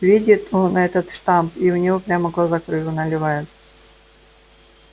видит он этот штамп и у него прямо глаза кровью наливают